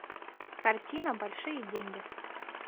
картина большие деньги